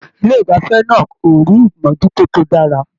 Ilé igbafẹ̀ náà o rí imojuto tó dára.